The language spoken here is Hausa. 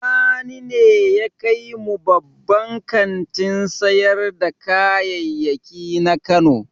Sani ne ya kai mu babban kantin sayar da kayayyaki na Kano.